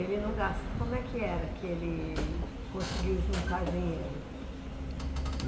Ele não gasta, como é que era que ele conseguiu juntar dinheiro?